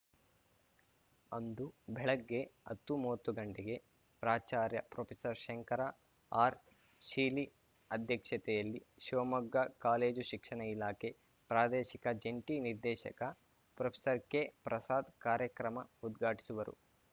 ಅಂದು ಬೆಳಗ್ಗೆ ಹತ್ತುಮೂವತ್ತು ಗಂಟೆಗೆ ಪ್ರಾಚಾರ್ಯ ಪ್ರೊಫೆಸರ್ಶಂಕರ ಆರ್‌ ಶೀಲಿ ಅಧ್ಯಕ್ಷತೆಯಲ್ಲಿ ಶಿವಮೊಗ್ಗ ಕಾಲೇಜು ಶಿಕ್ಷಣ ಇಲಾಖೆ ಪ್ರಾದೇಶಿಕ ಜಂಟಿ ನಿರ್ದೇಶಕ ಪ್ರೊಫೆಸರ್ ಕೆಪ್ರಸಾದ್‌ ಕಾರ್ಯಕ್ರಮ ಉದ್ಘಾಟಿಸುವರು